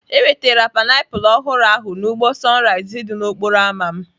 E nwetara painiapulu ọhụrụ ahụ n'ugbo Sunrise dị n'okporo ámá m.